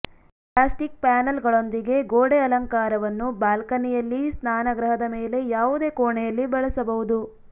plastic ಪ್ಯಾನಲ್ಗಳೊಂದಿಗೆ ಗೋಡೆ ಅಲಂಕಾರವನ್ನು ಬಾಲ್ಕನಿಯಲ್ಲಿ ಸ್ನಾನಗೃಹದ ಮೇಲೆ ಯಾವುದೇ ಕೋಣೆಯಲ್ಲಿ ಬಳಸಬಹುದು